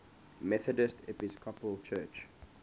methodist episcopal church